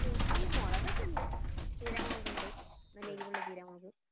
കൃഷി മുളകൊക്കെ ഉണ്ട് ചീരാ മുളകുണ്ട് നല്ല എരിവുള്ള ചീരാ മുളക്